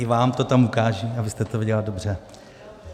I vám to tam ukážu, abyste to viděla dobře.